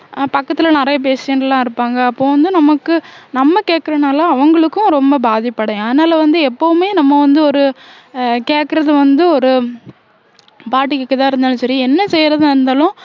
அஹ் பக்கத்துல நிறைய patient எல்லாம் இருப்பாங்க அப்போ வந்து நமக்கு நம்ம கேட்கிறனால அவங்களுக்கும் ரொம்ப பாதிப்படையும் அதனால வந்து எப்பவுமே நம்ம வந்து ஒரு அஹ் கேக்குறது வந்து ஒரு பாடு கேக்கறதா இருந்தாலும் சரி என்ன செய்யறதா இருந்தாலும்